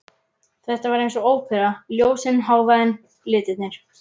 Þetta var einsog ópera, ljósin, hávaðinn, litirnir.